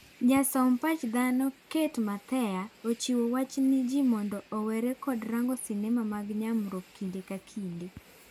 Jasom pach dhano Cate Mathea, ochiwo wach ne jii mondo ewere kod rango sinema mag nyamruok kinde ka kinde.